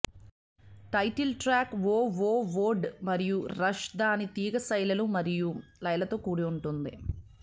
title track వోవోవోడ్ మరియు rush దాని తీగ శైలులు మరియు లయలతో కూడి ఉంటుంది